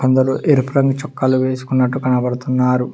అందరు ఎరుపు రంగు చొక్కాలు వేసుకున్నట్టు కనబడుతున్నారు